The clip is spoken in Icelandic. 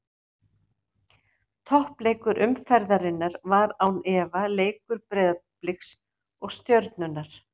Toppleikur umferðarinnar var án efa leikur Breiðabliks og Stjörnunnar.